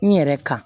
N yɛrɛ kan